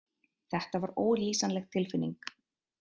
Þetta var ólýsanleg tilfinning.